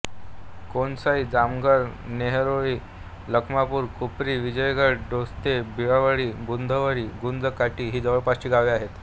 कोणसाई जामघर नेहरोळी लखमापूर खुपारी विजयगड डोंगस्ते बिळावळी बुधावळी गुंज काटी ही जवळपासची गावे आहेत